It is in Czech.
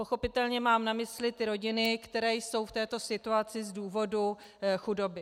Pochopitelně mám na mysli ty rodiny, které jsou v této situaci z důvodu chudoby.